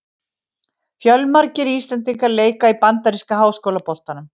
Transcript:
Fjölmargir íslendingar leika í bandaríska háskólaboltanum.